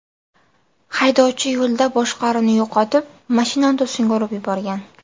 Haydovchi yo‘lda boshqaruvni yo‘qotib, mashinani to‘singa urib yuborgan.